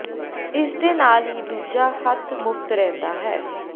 ਇਸ ਦੇ ਨਾਲ ਹੀ ਦੂਜਾ ਹੱਥ ਮੁਫ਼ਤ ਰਹਿੰਦਾ ਹੈ